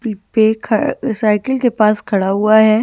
पे साइकिल के पास खड़ा हुआ है।